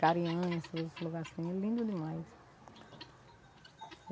esses lugares assim, lindos demais.